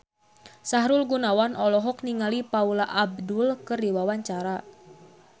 Sahrul Gunawan olohok ningali Paula Abdul keur diwawancara